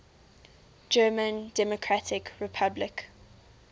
german democratic republic